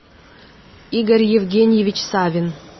игорь евгеньевич савин